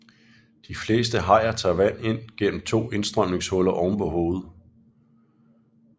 De fleste hajer tager vand ind gennem to indstrømningshuller ovenpå hovedet